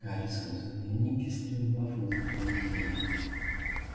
гарри схватил дневник и стремглав выскочил из кабинета